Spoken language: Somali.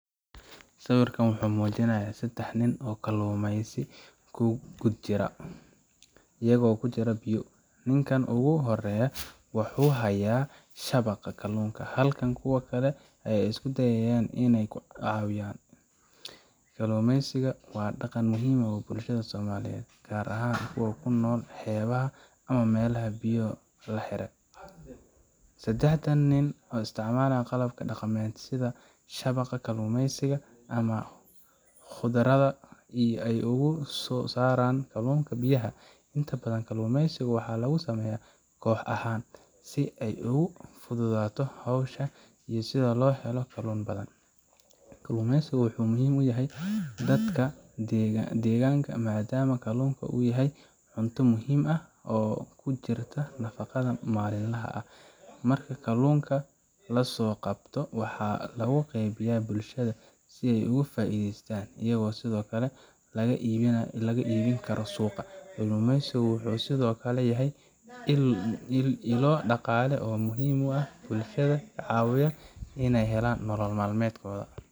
Sawirkan waxa uu muujinayaa saddex nin oo kalluumaysi ku guda jira, iyagoo ku jira biyo. Ninkan ugu horeeya waxa uu haya shabaq kalluunka, halka kuwa kale ay isku dayayaan inay ku caawiyaan. Kalluumaysiga waa dhaqan muhiim u ah bulshada Soomaaliyeed, gaar ahaan kuwa ku nool xeebaha ama meelaha biyaha la xiriira. Saddexdan nin waxay isticmaalaan qalab dhaqameed sida shabaqa kalluumaysiga ama khudrada si ay uga soo saaraan kalluunka biyaha. Inta badan, kalluumaysiga waxaa lagu sameeyaa koox ahaan, si ay ugu fududaato hawsha iyo si loo helo kalluun badan. Kalluumaysiga wuxuu muhiim u yahay dadka deegaanka, maadaama kalluunka uu yahay cunto muhiim ah oo ku jirta nafaqada maalinlaha ah. Marka kalluunka la soo qabto, waxaa lagu qaybiyaa bulshada si ay uga faa'iideystaan, iyagoo sidoo kale laga iibin karo suuqa. Kalluumaysigu wuxuu sidoo kale yahay ilo dhaqaale oo muhiim ah oo bulshada ka caawiya inay helaan nolol maalmeedkooda.